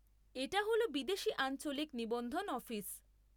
এটা হল বিদেশী আঞ্চলিক নিবন্ধন অফিস।